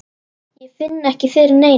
Ég finn ekki fyrir neinu.